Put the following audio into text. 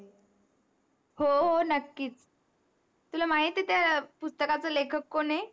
हो हो नक्कीच तुला माहिती आहे त्या पुस्तकाच लेखक कोण आहे